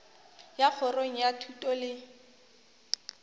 ya kgorong ya thuto le